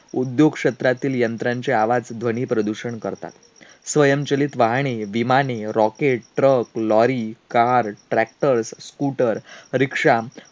उद्योग क्षेत्रातील यंत्रांचे आवाज ध्वनीप्रदूषण करतात. स्वयंचलित वाहने, विमाने, rocket, truck, lorry, car, tractor, scooter, rikshaw,